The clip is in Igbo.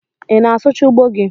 Ị na-asụchaa ugbo gi?